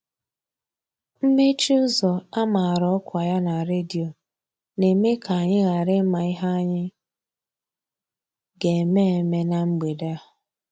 Mmechi ụzọ a mara ọkwa ya na redio na-eme ka anyị ghara ịma ihe anyị ga-eme eme na mgbede a.